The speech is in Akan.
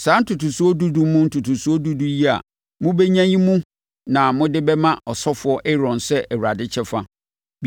Saa ntotosoɔ dudu mu ntotosoɔ dudu yi a mobɛnya yi mu na mode bɛma ɔsɔfoɔ Aaron sɛ Awurade kyɛfa.